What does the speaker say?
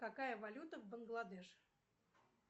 какая валюта в бангладеш